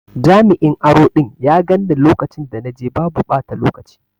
Jami'in aro ɗin ya ganni lokacin da na je babu ɓata lokaci.